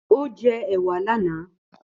Ó jẹ́ èwà lánàá.